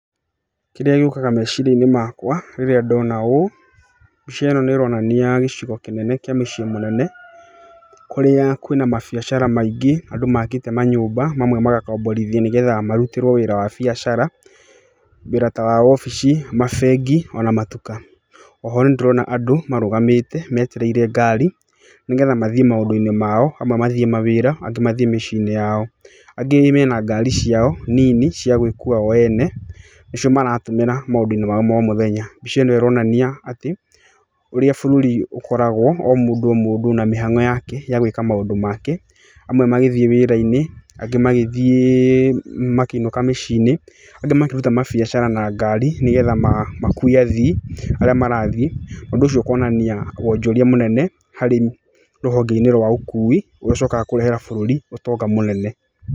Kĩrĩa gĩũkaga meciria-inĩ makwa rĩrĩa ndona ũ, mbica ĩno nĩ ĩronania gĩcigo kĩnene kĩa mũciĩ mũnene, kũrĩa kwĩna mabiacara maingĩ andũ makĩte manyũmba mamwe magakomborithio nĩgetha marutĩrwo wĩra wa biacara, wĩra wa wabici, mabengi ona matuka. Oho nĩndĩrona andũ marũgamĩte metereire ngari nĩgetha mathiĩ maũndũ-inĩ mao, amwe mathiĩ mawĩra angĩ mathiĩ mĩci-inĩ yao. Angĩ mena ngari ciao nini cia gwĩkua o ene nĩcio maratũmĩra maũndũ-inĩ mao ma o mũthenya. Mbica ĩno ĩronania atĩ ũrĩa bũrũri ũkoragwo o mũndũ o mũndũ na mĩhang'o yake yagũĩka maũndũ make amwe magĩthiĩ wĩra-inĩ angĩ magĩthiĩ, makĩinũka mĩci-inĩ angĩ makĩruta biacara na ngari nĩgetha makue athii arĩa marathiĩ. Ũndũ ũcio ũkonania wonjoria mũnene harĩ rũhonge-inĩ rwa ũkui gũcokaga kũrehera bũrũri ũtonga munene.